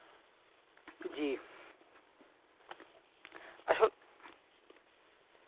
জী আসল